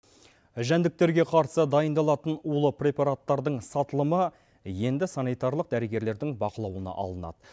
жәндіктерге қарсы дайындалатын улы препараттардың сатылымы енді санитарлық дәрігерлердің бақылауына алынады